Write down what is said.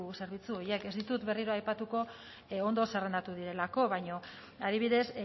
zerbitzu horiek ez ditut berriro aipatuko ondo zerrendatu direlako baina adibidez